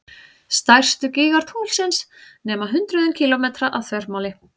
Stærstu gígar tunglsins nema hundruðum kílómetra að þvermáli.